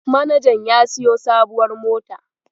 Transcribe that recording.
Manajan ya siyo sabuwar mota.